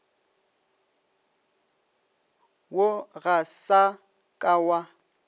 wo ga sa ka wa